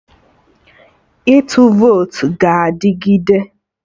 Ịtụ votu ga adịgide